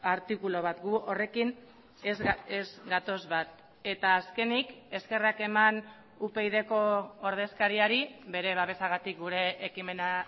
artikulu bat gu horrekin ez gatoz bat eta azkenik eskerrak eman upyd ko ordezkariari bere babesagatik gure ekimena